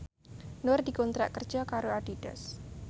Nur dikontrak kerja karo Adidas